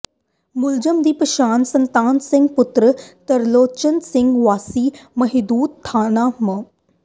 ਮੁਲਜ਼ਮ ਦੀ ਪਛਾਣ ਸਤਨਾਮ ਸਿੰਘ ਪੁੱਤਰ ਤਰਲੋਚਨ ਸਿੰਘ ਵਾਸੀ ਮਹਿਦੂਦ ਥਾਣਾ ਮ